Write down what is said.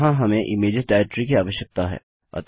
यहाँ हमें images directory की आवश्यकता हैं